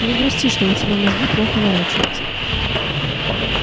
не грусти что у тебя мозги плохо ворочаются